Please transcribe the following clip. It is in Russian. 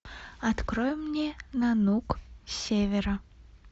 открой мне нанук с севера